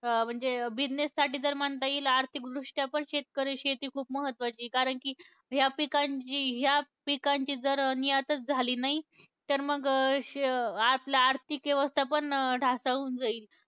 अं म्हणजे business साठी जर म्हणता येईल, आर्थिकदृष्ट्या पण शेतकरी शेती खूप महत्त्वाची आहे. कारण की ह्या पिकांची, ह्या पिकांची जर नियातच झाली नाही, तर मंग श आपलं आर्थिक व्यवस्थापन ढासळून जाईल.